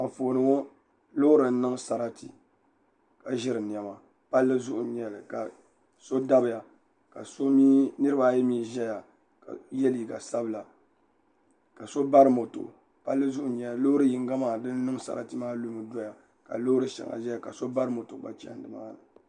Anfooni ŋɔ loori n niŋ sarati ka ʒiri niɛma palli zuɣu n nyɛli so dabiya ka niraba ayi mii ʒɛya ka yɛ liiga sabila k so bari moto palli zuɣu n nyɛli loori yinga maa din niŋ sarati maa lumi doya ka loori shɛŋa ʒɛya ka so bari moto gba chɛni nimaani